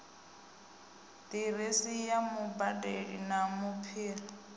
diresi ya mubadeli na bambiri